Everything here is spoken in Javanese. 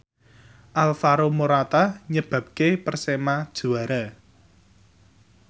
Alvaro Morata nyebabke Persema juara